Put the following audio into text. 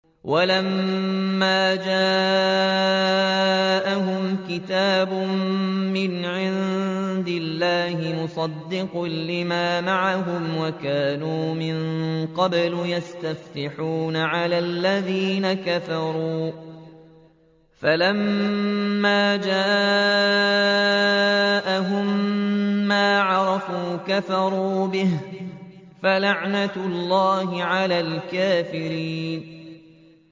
وَلَمَّا جَاءَهُمْ كِتَابٌ مِّنْ عِندِ اللَّهِ مُصَدِّقٌ لِّمَا مَعَهُمْ وَكَانُوا مِن قَبْلُ يَسْتَفْتِحُونَ عَلَى الَّذِينَ كَفَرُوا فَلَمَّا جَاءَهُم مَّا عَرَفُوا كَفَرُوا بِهِ ۚ فَلَعْنَةُ اللَّهِ عَلَى الْكَافِرِينَ